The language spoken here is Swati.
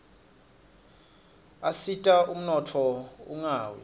asita umnotfo ungawi